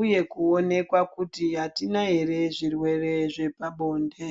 uye kuonekwa kuti atina here zvirwere zvepabonde.